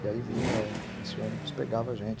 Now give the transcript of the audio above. E aí vinha, esse ônibus pegava a gente.